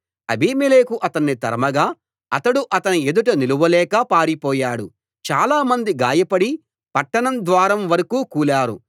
అబీమెలెకు అతన్ని తరమగా అతడు అతని యెదుట నిలువలేక పారిపోయాడు చాలామంది గాయపడి పట్టణం ద్వారం వరకూ కూలారు